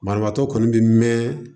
Banabaatɔ kɔni bɛ mɛn